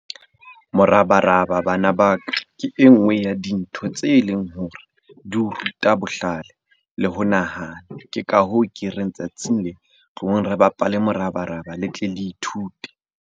Morabaraba bana ba ka ke e nngwe ya dintho tse leng hore di o ruta bohlale le ho nahana. Ke ka hoo ke reng tsatsing le, tlohong re bapale morabaraba le tle le ithute.